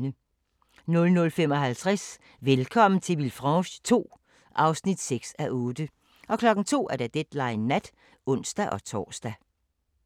00:55: Velkommen til Villefranche II (6:8) 02:00: Deadline Nat (ons-tor)